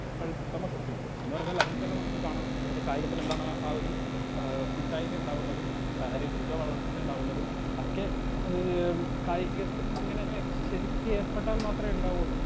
Speaker 2 എന്ന് പറഞ്ഞാൽ അതിൽ തന്നെ നമുക്ക് കാണാം കായികത്തിലെന്താണ് ആ ഒരു ആ കൂട്ടായ്മയുണ്ടാകുന്നതും ശാരീരിക വളർച്ച ഉണ്ടാകുന്നതും ഒക്കെ ഏ കായികത്തിലിങ്ങനെ ശെരിക്കേർപ്പെട്ടാൽ മാത്രേ ഇണ്ടാവൂ.